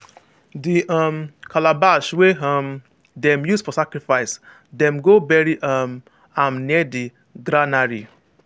the um calabash wey um dem use for sacrifice dem go bury um am near the granary.